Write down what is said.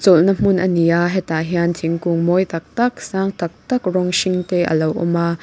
chawlh na hmun a ni a hetah hian thingkung mawi tak tak sang tak tak rawng hring te alo awm a.